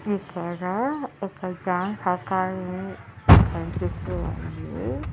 ఇక్కడా ఇక్క dance academy కన్పిస్తూ ఉంది.